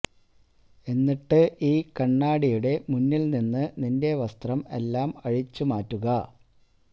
എന്നിട്ട് ഈ കണ്ണാടിയുടെ മുന്നില് നിന്ന് നിന്റെ വസ്ത്രം എല്ലാം അഴിച്ചു മാറ്റുക